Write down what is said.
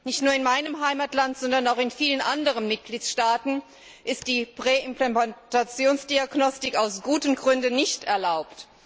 Nicht nur in meinem Heimatland, sondern auch in vielen anderen Mitgliedstaaten ist die Präimplantationsdiagnostik aus guten Gründen nicht erlaubt.